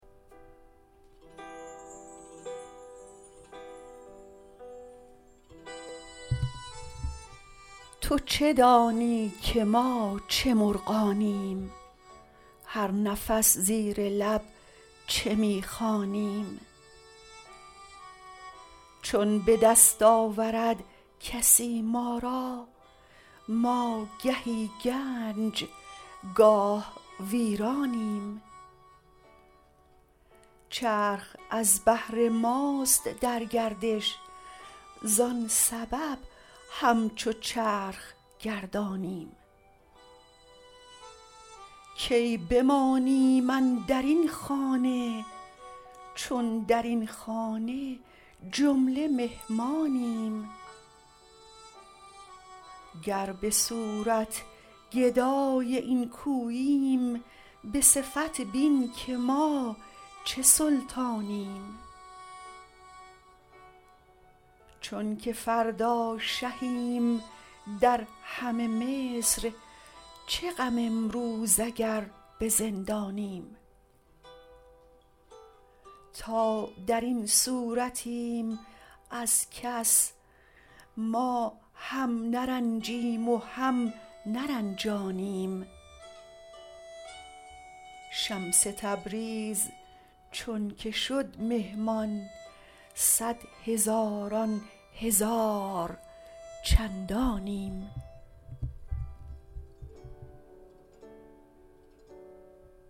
تو چه دانی که ما چه مرغانیم هر نفس زیر لب چه می خوانیم چون به دست آورد کسی ما را ما گهی گنج گاه ویرانیم چرخ از بهر ماست در گردش زان سبب همچو چرخ گردانیم کی بمانیم اندر این خانه چون در این خانه جمله مهمانیم گر به صورت گدای این کوییم به صفت بین که ما چه سلطانیم چونک فردا شهیم در همه مصر چه غم امروز اگر به زندانیم تا در این صورتیم از کس ما هم نرنجیم و هم نرنجانیم شمس تبریز چونک شد مهمان صد هزاران هزار چندانیم